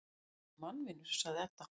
Guðni er mannvinur, sagði Edda.